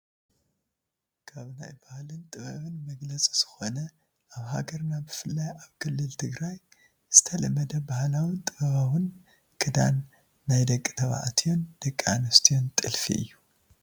ካብ ናይባህልን ጥበብን መግለፂ ዝኾነ ኣብ ሃገርና ብፍላይ ኣብ ክልል ትግራይ ዝተለመደ ባህላዊን ጥበባውን ክዳን ናይ ደቂ ተባዕትዮን ደቂ ኣንስትዮን ጥልፊ እዩ፡፡